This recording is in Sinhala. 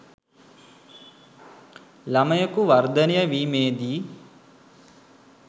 ළමයකු වර්ධනය වීමේදී